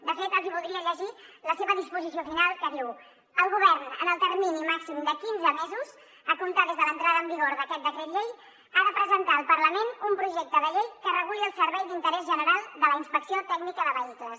de fet els voldria llegir la seva disposició final que diu el govern en el termini màxim de quinze mesos a comptar des de l’entrada en vigor d’aquest decret llei ha de presentar al parlament un projecte de llei que reguli el servei d’interès general de la inspecció tècnica de vehicles